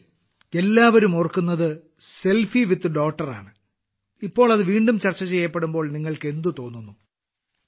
സുനിൽ എല്ലാവരും ഓർക്കുന്നത് selfie with daughter ആണ് ഇപ്പോൾ അത് വീണ്ടും ചർച്ച ചെയ്യപ്പെടുമ്പോൾ നിങ്ങൾക്ക് എന്തു തോന്നുന്നു